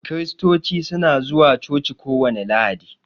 Kiristoci su na zuwa coci kowani lahadi.